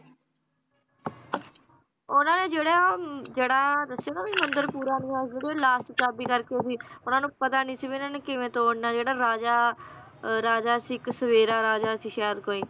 ਉਹਨਾਂ ਨੇ ਜਿਹੜਾ ਅਮ ਜਿਹੜਾ ਦੱਸਿਆ ਨਾ ਵੀ ਮੰਦਿਰ ਪੂਰਾ ਨੀ ਹੋਇਆ ਸੀ ਜਿਹੜੀ ਓਹਦੀ last ਚਾਬੀ ਕਰਕੇ ਉਹਨਾਂ ਨੂੰ ਪਤਾ ਨੀ ਸੀ ਵੀ ਇਹਨਾਂ ਨੇ ਕਿਵੇਂ ਤੋੜਨਾ ਜਿਹੜਾ ਰਾਜਾ, ਰਾਜਾ ਸੀ ਇੱਕ ਸਵੇਰਾ ਰਾਜਾ ਸੀ ਸ਼ਾਇਦ ਕੋਈ